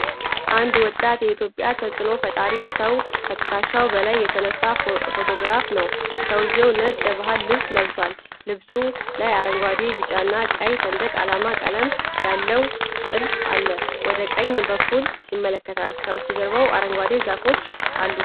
አንድ ወጣት የኢትዮጵያ ተጽኖ ፈጣሪ ሰው ከትከሻ በላይ የተነሳ ፎቶግራፍ ነው። ሰውየው ነጭ የባህል ልብስ ለብሷል። ልብሱ ላይ አረንጓዴ፣ ቢጫና ቀይ ሰንደቅ ዓላማ ቀለም ያለው ጥልፍ አለ። ወደ ቀኝ በኩል ይመለከታል፣ ከበስተጀርባው አረንጓዴ ዛፎች አሉ።